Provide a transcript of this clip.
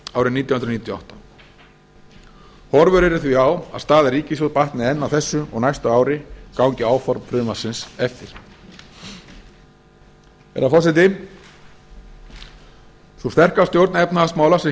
níutíu og átta horfur eru því á að staða ríkissjóðs batni enn á þessu og næsta ári gangi áform frumvarpsins eftir herra forseti sú sterka stjórn efnahagsmála sem